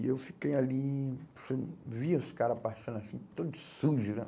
E eu fiquei ali, falei, vi os caras passando assim, todos sujos, né?